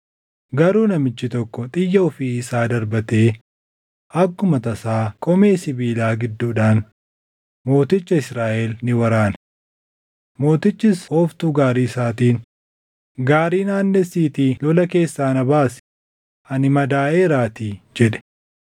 Garuu namichi tokko xiyya ofii isaa darbatee akkuma tasaa qomee sibiilaa gidduudhaan mooticha Israaʼel ni waraane. Mootichis ooftuu gaarii isaatiin, “Gaarii naannessiitii lola keessaa na baasi. Ani madaaʼeeraatii” jedhe.